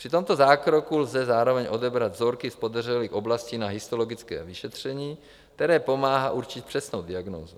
Při tomto zákroku lze zároveň odebrat vzorky z podezřelých oblastí na histologické vyšetření, které pomáhá určit přesnou diagnózu.